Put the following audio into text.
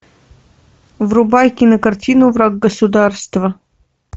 врубай кинокартину враг государства